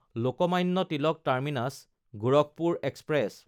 Lokmanya Tilak টাৰ্মিনাছ–গোৰখপুৰ express